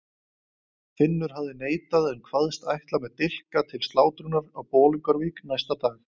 Finnur hafði neitað en kvaðst ætla með dilka til slátrunar á Bolungarvík næsta dag.